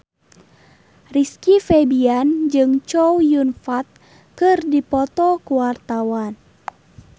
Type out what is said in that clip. Rizky Febian jeung Chow Yun Fat keur dipoto ku wartawan